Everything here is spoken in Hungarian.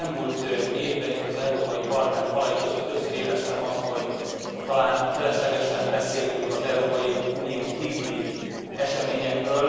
Az elmúlt évben itt, az Európai Parlament falai között többször éreztem azt, hogy talán feleslegesen beszélünk az Európai Unión kívüli eseményekről.